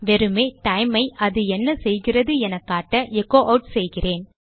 வெறுமே டைம் ஐ அது என்ன செய்கிறது எனக் காட்ட எச்சோ ஆட் செய்கிறேன்